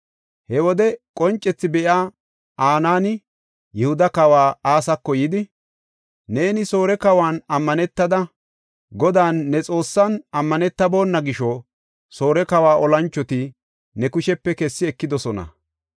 He wode qoncethi be7iya Anaani Yihuda kawa Asako yidi, “Neeni Soore kawan ammanetada, Godan ne Xoossan, ammanetabona gisho Soore kawa olanchoti ne kushepe kessi ekidosona.